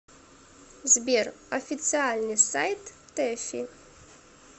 сбер официальный сайт тэфи